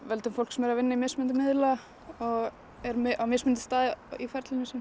völdum fólk sem er að vinna í mismunandi miðla og er á mismunandi stað í ferlinu sínu